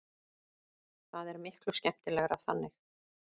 Það er miklu skemmtilegra þannig.